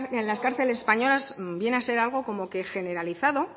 en las cárceles españolas viene a ser algo como que generalizado